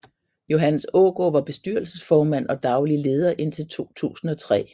Johannes Aagaard var bestyrelsesformand og daglig leder indtil 2003